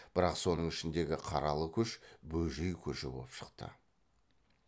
бірақ соның ішіндегі қаралы көш бөжей көші боп шықты